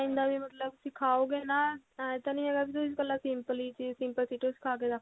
ਦਾ ਵੀ ਮਤਲਬ ਸਿਖਾਓ ਗਏ ਨਾ ਏਂ ਤਾਂ ਨਹੀਂ ਹੈਗਾ ਵੀ ਤੁਸੀਂ ਇਕੱਲਾ simple ਹੀ simple stitching ਸਿਖਾ ਕੇ ਰੱਖ